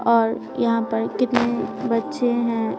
और यहां पर कितने बच्चे हैं।